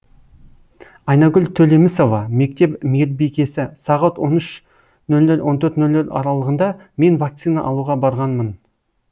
айнагүл төлемісова мектеп мейірбикесі сағат он үш ноль ноль он төрт ноль ноль аралығында мен вакцина алуға барғанмын